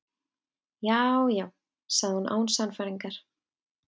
Já, já- sagði hún án sannfæringar.